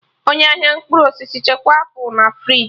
Onye ahịa mkpụrụ osisi chekwaa apụl na friji